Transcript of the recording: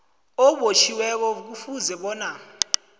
obotjhiweko kufuze bona